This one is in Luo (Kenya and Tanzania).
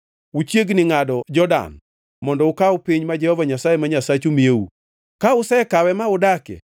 Uchiegni ngʼado Jordan mondo ukaw piny ma Jehova Nyasaye ma Nyasachu miyou. Ka usekawe ma udakie,